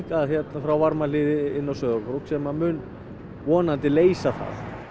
frá Varmahlíð inn á Sauðárkrók sem mun vonandi leysa það